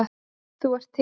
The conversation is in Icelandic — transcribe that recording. Þú ert til.